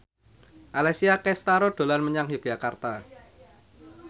Alessia Cestaro dolan menyang Yogyakarta